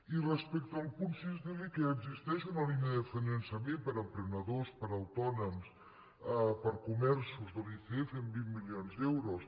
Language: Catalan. i respecte al punt sis dir li que ja existeix una línia de finançament per a emprenedors per a autònoms per a comerços de l’icf amb vint milions d’euros